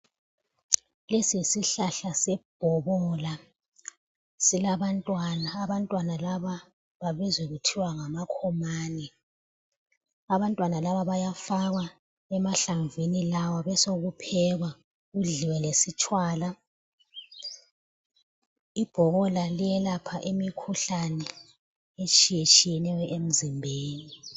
Lesi yisihlahla sebhobola silabantwana, abantwana laba babizwa kuthiwa ngamakhomane. Abantwana laba bayafakwa emahlamvini lawa besokuphekwa kudliwe lesitshwala , ibhobola liyelapha imikhuhlane etshiye tshiyeneyo emzimbeni.